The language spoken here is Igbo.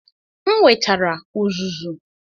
M wetara uzuzu.